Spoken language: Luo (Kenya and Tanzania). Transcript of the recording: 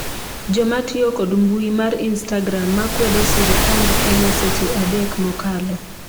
joma tiyo kod mbui mar istagram ma kwedo sirikand Kenya seche adek mokalo